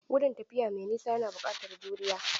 Gudun tafiya mai nisa yana buƙatar juriya.